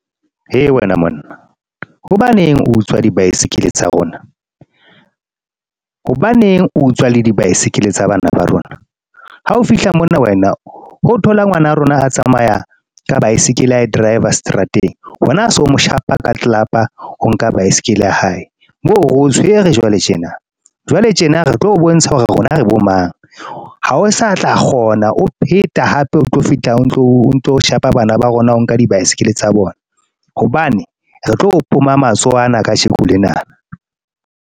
He wena monna hobaneng utswa di-bicycle tsa rona? Hobaneng o utswa le di-bicycle tsa bana ba rona? Ha o fihla mona wena o thola ngwana rona, a tsamaya ka bicycle, a driver seterateng wena o so mo shapa ka tlelapa o nka baesekele ya hae. Moo reo tshwere jwale tjena, jwale tjena re tlo o bontsha hore rona re bo mang, ha o sa tla kgona o pheta hape o tlo fihla o ntso shapa bana ba rona o nka di-bicycle tsa bona hobane, re tlo o poma matsoho ana kajeko lena.